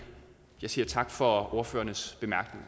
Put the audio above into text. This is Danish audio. jeg siger tak for ordførernes